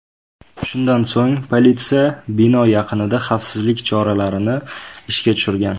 Shundan so‘ng politsiya bino yaqinida xavfsizlik choralarini ishga tushirgan.